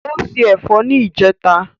O ṣé ẹ̀fọ́ ní ìjẹta.